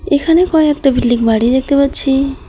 এখানে কয়েকটা বিল্ডিং বাড়ি দেখতে পাচ্ছি।